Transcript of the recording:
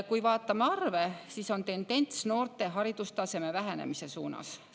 Kui vaatame arve, siis näeme, et tendents on noorte haridustaseme suunas.